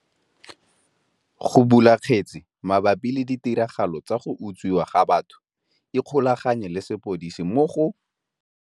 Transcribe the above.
Go bula kgetse mabapi le ditiragalo tsa go utswiwa ga batho ikgolaganye le sepodisi mo go.